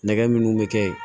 Nɛgɛ minnu bɛ kɛ yen